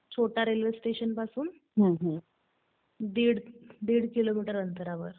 छोटा रेल्वे स्टेशनपासून दिड किलोमीटर अंतरावर आहे.